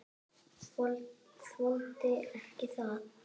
Þoldi ekki það orð.